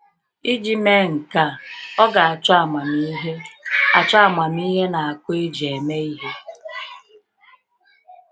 Iji mee nke a, ọ ga achọ amamihe achọ amamihe na akọ eji eme ihe.